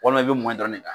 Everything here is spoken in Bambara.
Walima i be mɔn dɔrɔn de